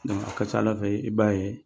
a ka ca Ala fɛ i b'a ye